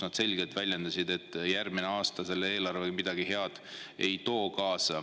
Nad selgelt väljendasid, et see eelarve järgmisel aastal midagi head kaasa ei too.